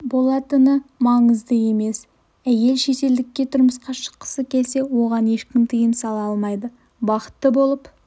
болатыны маңызды емес әйел шетелдікке тұрмысқа шыққысы келсе оған ешкім тыйым сала алмайды бақытты болып